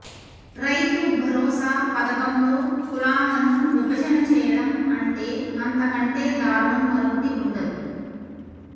రైతు భరోసా పధకంలో కులాలను విభజన చేయడం అంటే అంత కంటే దారుణం మరొకటి ఉండదు